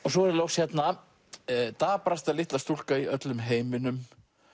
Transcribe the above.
svo er það loks hérna daprasta litla stúlka í öllum heiminum